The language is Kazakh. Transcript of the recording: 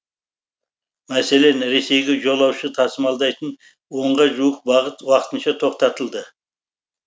мәселен ресейге жолаушы тасымалдайтын онға жуық бағыт уақытынша тоқтатылды